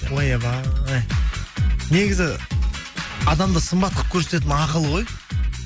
ойбай негізі адамды сымбат қылып көрсететін ақыл ғой